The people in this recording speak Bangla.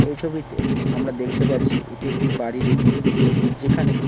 এই ছবিতে আমরা দেখতে পারছি এটি একটি বাড়ির উঠোন যেখানে--